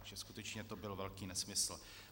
Takže skutečně to byl velký nesmysl.